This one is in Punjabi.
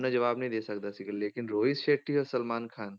ਜਵਾਬ ਨਹੀਂ ਦੇ ਸਕਦਾ ਸੀਗਾ ਲੇਕਿੰਨ ਰੋਹਿਤ ਸੈਟੀ ਔਰ ਸਲਮਾਨ ਖਾਨ,